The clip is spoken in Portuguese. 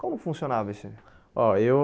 Como funcionava isso aí? Ó eu